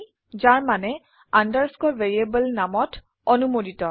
যাৰ মানে underscore variable নামত অনুমোদিত